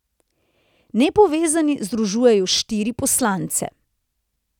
Nepovezani združujejo štiri poslance.